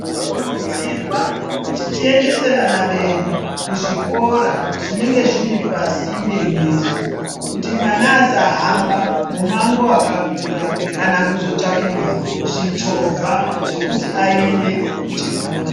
Zvinokurudzirwa kuti tiendese vana vedu, kuzvikora zvinenge zviri pasinde nesu, kuti mwana asahamba mumango wakakura, kana kuzotsvakirwa zvichovha zvekuti aende kuchikora.